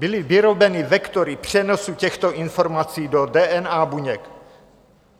Byly vyrobeny vektory přenosu těchto informací do DNA buněk.